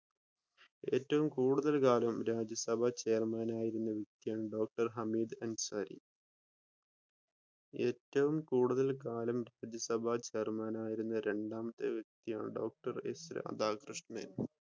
ഏറ്റവും കൂടുതൽ കാലം രാജ്യ സഭ ചെയർമാനായിരുന്ന വ്യക്തിയാണ് ഡോക്ടർ ഹമീദ് അൻസാരി ഏറ്റവും കൂടുതൽ കാലം രാജ്യ സഭ ചെയർമാനായിരുന്ന രണ്ടാമത്തെ വ്യക്തിയാണ് ഡോക്ടർ എസ് രാധാകൃഷ്ണൻ.